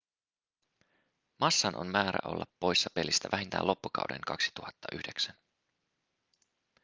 massan on määrä olla poissa pelistä vähintään loppukauden 2009